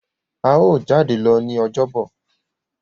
a yíò jade lọ ní Ọjọ́ Bọ̀.